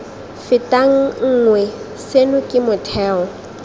fetang nngwe seno ke motheo